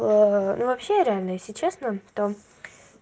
а ну вообще реально если честно там